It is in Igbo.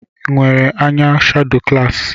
Nwere anya shado klassik?